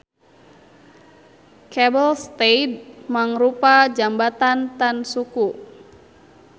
Cable stayed mangrupa jambatan tan suku.